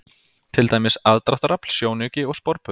Til dæmis: aðdráttarafl, sjónauki og sporbaugur.